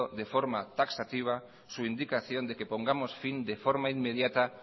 de forma taxativa su indicación de que pongamos fin de forma inmediata